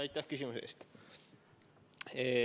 Aitäh küsimuse eest!